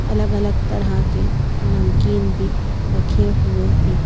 अलग-अलग तरह के नमकीन भी रखे हुए हैं।